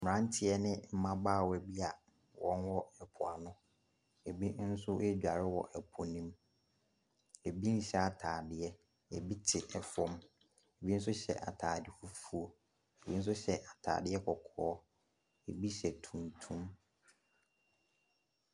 Mmeranteɛ ne mmabaawa bi a wɔwɔ mpoano, bi nso ɛredware wɔ po ne mu, bi nhyɛ ataade, bi te fam, bi nso hyɛ ataade fufuo, bi nso hyɛ ataade kɔkɔɔ, bi hyɛ tuntum.